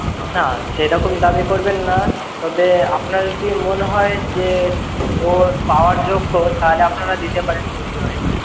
না। সেরকম দাবি করবেন না, তবে আপনার যদি মনে হয়, যে ওর পাওয়ার যোগ্য। তাহলে আপনারা দিতে পারেন খুশি হয়ে।